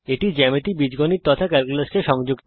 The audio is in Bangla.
এটি জ্যামিতি বীজগণিত তথা ক্যালকুলাস কে সংযুক্ত করে